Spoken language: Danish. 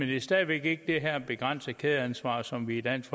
det er stadig væk ikke det her begrænsede kædeansvar som vi i dansk